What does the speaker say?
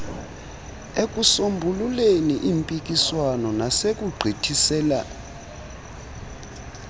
ekusombululeni iimpikiswano nasekugqithisela